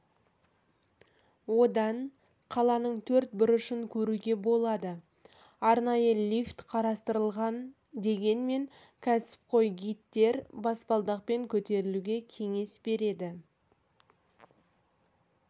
одан қаланың төрт бұрышын көруге болады арнайы лифт қарастырылған дегенмен кәсіпқой гидтер баспалдақпен көтерілуге кеңес береді